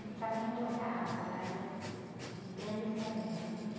Não precisava nem trocar água, ela ia entrando e saindo, né?